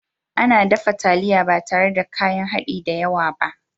Ana dafa taliya ba tare da kayan haɗi da yawa ba